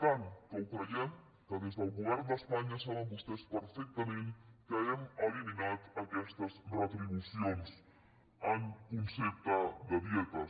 tant ho creiem que des del govern d’espanya saben vostès perfectament que hem eliminat aquestes retribucions en concepte de dietes